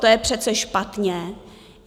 To je přece špatně!